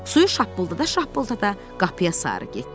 Suyu şappıldada-şappıldada qapıya sarı getdi.